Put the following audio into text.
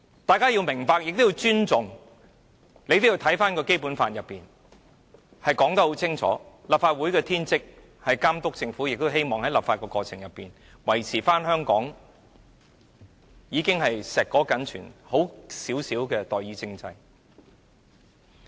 大家要明白和尊重《基本法》清楚訂明的立法會的天職，便是監督政府，我們亦希望透過立法過程維持香港碩果僅存的代議政制。